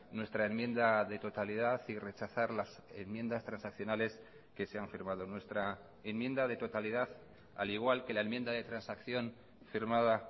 nuestra enmienda de totalidad y rechazar las enmiendas transaccionales que se han firmado nuestra enmienda de totalidad al igual que la enmienda de transacción firmada